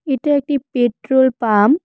এটা একটি petrol pump.